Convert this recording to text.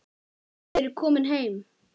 Þið eruð komin heim.